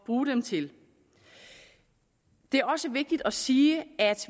bruge dem til det er også vigtigt at sige at